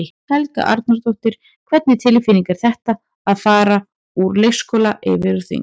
Helga Arnardóttir: Hvernig tilfinning er þetta, að fara úr leikskóla yfir á þing?